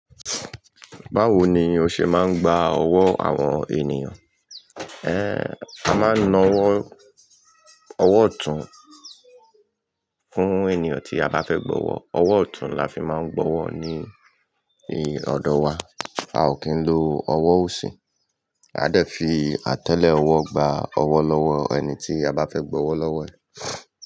Báwo ni o ṣe máa ń gba ọwọ́ àwọn ènìyàn? Ẹ́n, a máa ń na ọwọ́, ọwọ́ ọ̀tún fún ènìyàn tí a bá fẹ́ gbọ́wọ́. Ọwọ́ ọ̀tún la fi máa ń gbọ́wọ́ ní ọ̀dọ̀ wa. A ò kí ń lo ọwọ́ òsì. A dẹ̀ fi àtẹ́lẹ̀ ọwọ́ gba ọwọ́ lọ́wọ́ ẹni tí a bá fẹ́ gbọ́wọ́ lọ́wọ́ ẹ̀